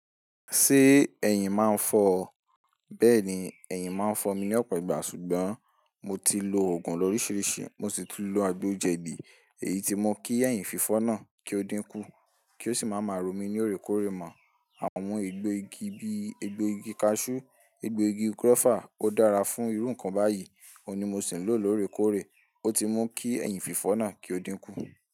Ṣé ẹ̀yìn máa ń fọ ọ? Bẹ́ẹ̀ni, ẹ̀yìn máa ń fọ mi ní ọ̀pọ̀ ìgbà, ṣùgbọ́n mo ti lo oògùn lọ́ríṣiríṣi, mo sì ti lo agbo jẹ̀dí, èyí ti mu kí ẹ̀hìn fífọ́ náà kí ó dínkú, kí ó sì máa máa ro mí ní oòrékóòrè mọ. Àwọn egbò igi bí egbò igi cashew, egbò igi guava ó dára fún irú nǹkan báyìí, òun ni mo sì ń lò lóorekóòrè, ó ti mún kí ẹ̀hìn fífọ́ náà kí ó dínkú.